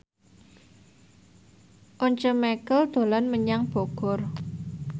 Once Mekel dolan menyang Bogor